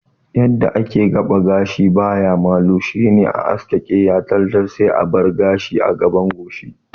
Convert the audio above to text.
Yadda ake gaba gashi baya malu shine a haske keya tal tal sai a bar gashi a gaban goshi